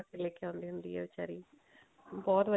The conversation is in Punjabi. ਲੇਕੇ ਆਉਂਦੀ ਹੁੰਦੀ ਹੈ ਵਿਚਾਰੀ ਬਹੁਤ